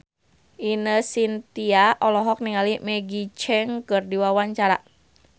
Ine Shintya olohok ningali Maggie Cheung keur diwawancara